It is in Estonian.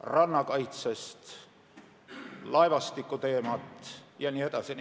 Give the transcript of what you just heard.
rannakaitsest, laevastikuteemad jne.